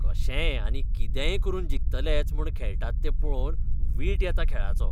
कशेय आनी कितेंय करून जिखतलेच म्हूण खेळटात तें पळोवन वीट येता खेळाचो.